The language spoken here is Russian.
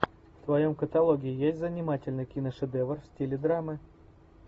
в твоем каталоге есть занимательный киношедевр в стиле драмы